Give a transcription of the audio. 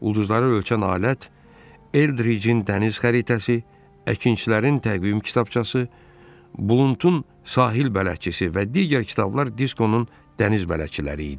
Ulduzları ölçən alət, Eldrijin dəniz xəritəsi, əkinçilərin təqvim kitabçası, Bluntun sahil bələdçisi və digər kitablar Diskonun dəniz bələdçiləri idi.